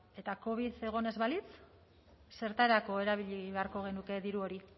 eta covid egon ez balitz zertarako erabili beharko genuke diru hori